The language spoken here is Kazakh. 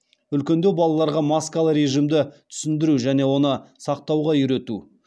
үлкендеу балаларға маскалы режимді түсіндіру және оны сақтауға үйрету